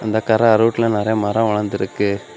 இந்தக் கரை அருவேட்டுல நிறைய மரம் வளர்ந்து இருக்கு.